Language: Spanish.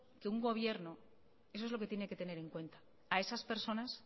que un gobierno eso es lo que tiene que tener en cuenta a esas personas